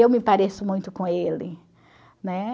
Eu me pareço muito com ele, né?